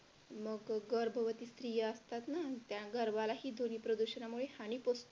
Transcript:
मग गर्भवती स्त्रिया असतात ना त्या गरबालाही ध्वनी प्रदूषणामुळे हानी पोहोचते.